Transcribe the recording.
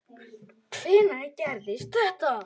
Hvenær gerðist þetta?